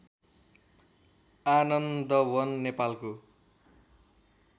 आनन्दवन नेपालको